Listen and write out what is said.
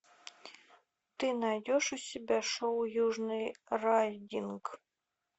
ты найдешь у себя шоу южный райдинг